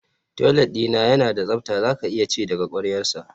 Toilet dina yana da tsafta zaka iya ci daga kwaryarsa